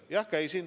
Jah, käisin.